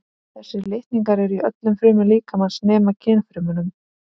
Þessir litningar eru í öllum frumum líkamans nema kynfrumunum.